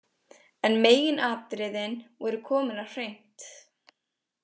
En meginatriðin voru komin á hreint.